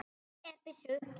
Ég er byssu